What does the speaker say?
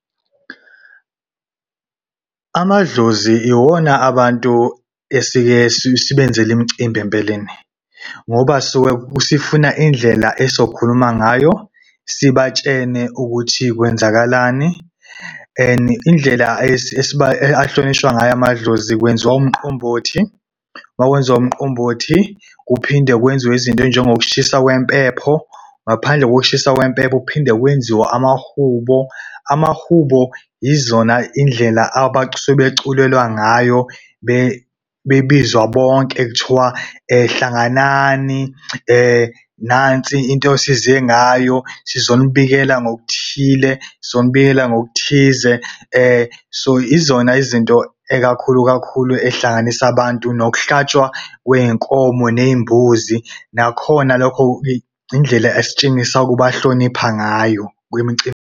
Amadlozi iwona abantu esike sibenzele imicimbi empeleni ngoba sisuke sifuna indlela esokhuluma ngayo, sibatshele ukuthi kwenzakalani. And indlela ahlonishwe ngayo amadlozi kwenziwa umqombothi. Uma kwenziwa umqombothi, kuphinde kwenziwe izinto ey'jengokushiswa kwempepho ngaphandle kokushisa kwempepho, kuphinde kwenziwe amahubo. Amahubo yizona indlela abasuke beculelwa ngayo bebizwa bonke kuthiwa hlanganani, nansi into osize ngayo, sizonibikela nokuthile sizonibikela nokuthize. So izona izinto ekakhulu kakhulu ehlanganisa abantu nokuhlatshwa kwey'nkomo nembuzi nakhona lokho indlela esitshengisa ukubahlonipha ngayo kwimicimbi.